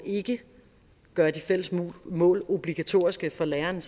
gøre de fælles mål obligatoriske for lærerne